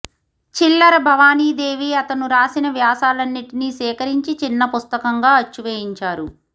చిల్లర భవానీదేవి అతను రాసిన వ్యాసాలన్నిటినీ సేకరించి చిన్న పుస్తకంగా అచ్చు వేయించారు